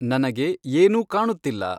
ನನಗೆ ಏನೂ ಕಾಣುತ್ತಿಲ್ಲ